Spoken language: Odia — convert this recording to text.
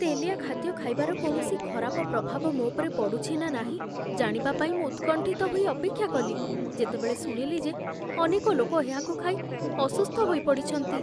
ତେଲିଆ ଖାଦ୍ୟ ଖାଇବାର କୌଣସି ଖରାପ ପ୍ରଭାବ ମୋ ଉପରେ ପଡ଼ୁଛି ନା ନାହିଁ ଜାଣିବା ପାଇଁ ମୁଁ ଉତ୍କଣ୍ଠିତ ହୋଇ ଅପେକ୍ଷା କଲି ଯେତେବେଳେ ଶୁଣିଲି ଯେ ଅନେକ ଲୋକ ଏହାକୁ ଖାଇ ଅସୁସ୍ଥ ହୋଇପଡ଼ିଛନ୍ତି।